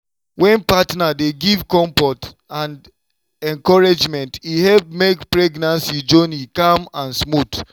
wen partner dey give comfort and encouragement e help make pregnancy journey calm and smooth.